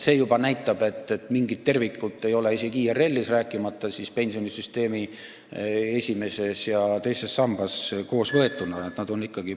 See juba näitab, et mingit ühtsust ei ole isegi IRL-is, rääkimata pensionisüsteemist esimeses ja teises sambas koos võetuna.